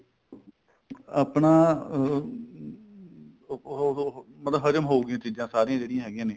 ਆਪਣਾ ਅਹ ਉਹ ਮਤਲਬ ਹਜਮ ਹੋਊਗੀ ਚੀਜ਼ਾਂ ਸਾਰੀਆਂ ਜਿਹੜੀਆਂ ਹੈਗੀਆਂ ਨੇ